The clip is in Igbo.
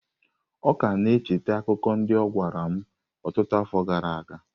Ọ ka na-echeta akụkọ ndị ọ gwara m ọtụtụ afọ gara aga.